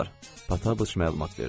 Pataçıq məlumat verdi.